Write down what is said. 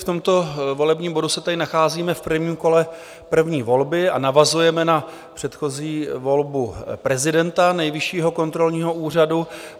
V tomto volebním bodu se tedy nacházíme v prvním kole první volby a navazujeme na předchozí volbu prezidenta Nejvyššího kontrolního úřadu.